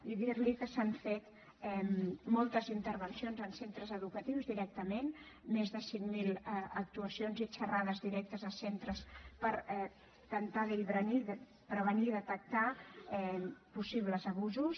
i dir li que s’han fet moltes intervencions en centres educatius directament més de cinc mil actuacions i xerrades directes a centres per intentar prevenir i detectar possibles abusos